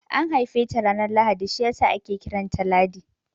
An haife ta ranar Lahadi shiyasa ake kiranta Ladi